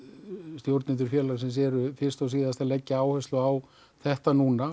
stjórnendur félagsins eru fyrst og síðast að leggja áherslu á þetta núna